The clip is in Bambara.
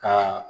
Ka